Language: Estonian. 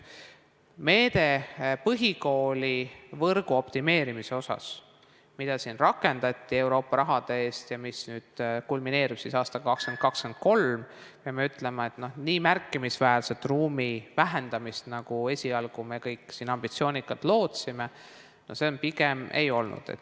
Põhikoolivõrgu optimeerimise meetme abil, mida rakendati Euroopa raha eest ja mis kulmineerub aastail 2020–2023, peame ütlema, nii märkimisväärset ruumide vähendamist, nagu esialgu me kõik ambitsioonikalt lootsime, pigem ei olnud.